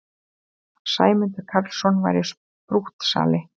Að Sæmundur Karlsson væri sprúttsali!